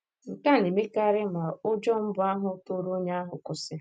Nke a na - emekarị ma ụjọ mbụ ahụ tụrụ onye ahụ kwụsị.